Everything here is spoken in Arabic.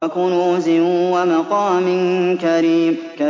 وَكُنُوزٍ وَمَقَامٍ كَرِيمٍ